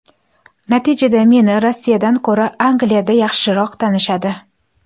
Natijada meni Rossiyadan ko‘ra Angliyada yaxshiroq tanishadi.